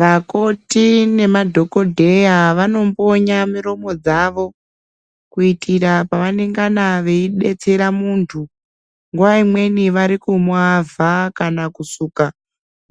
Vakoti nemadhokodheya vanombonya miromo dzavo kuitira pavanongana veidetsera muntu nguwa imweni varikumwavha kana kusuka